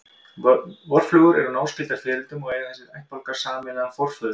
Vorflugur eru náskyldar fiðrildum og eiga þessir ættbálkar sameiginlegan forföður.